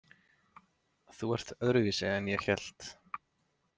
Þú ert öðruvísi en ég hélt.